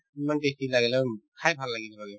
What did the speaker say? ইমান testy লাগিলে উম খাই ভাল লাগিল মানে